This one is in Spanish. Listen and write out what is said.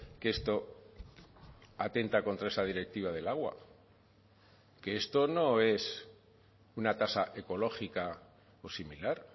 que esto atenta contra esa directiva del agua que esto no es una tasa ecológica o similar